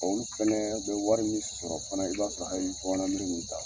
Olu fana bɛ wari min sɔrɔ fana i b'a sɔrɔ hali bamananmere minnu t'a sɔrɔ.